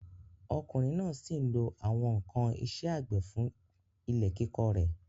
Ọkùnrin náà sí n lo àwọn ǹkan isẹ́ àgbẹ̀ fún ilẹ̀ kíkọ rẹ̀